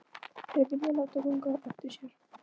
Þær vilja láta ganga eftir sér.